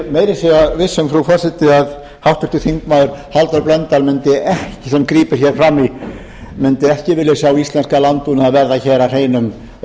segja viss um frú forseti að háttvirtur þingmaður halldór blöndal sem grípur hér fram í mundi ekki vilja sjá íslenskan landbúnað verða hér að hreinum